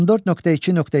14.2.2.